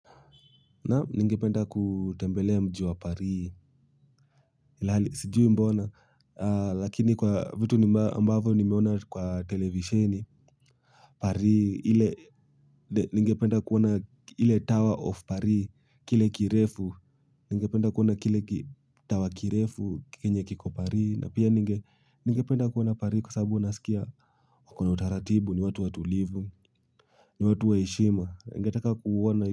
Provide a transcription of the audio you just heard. Na ningependa kutembelea mjiwa parii ilhali, sijui mbona, lakini kwa vitu ambavo nimeona kwa televisheni, pari, ile ningependa kuona ili tower of pari, kile kirefu, ningependa kuona kile tower kirefu, kenye kiko pari, na pia ningependa kuona pari kwa sababu nasikia, wako na utaratibu, ni watu watulivu, ni watu wa heshima, ningetaka kuona,